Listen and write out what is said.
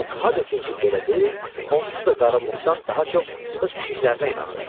Muq nə desin ki, belə deyil, onsuz da qarı Muqdan daha çox öz pişiklərinə inanırdı.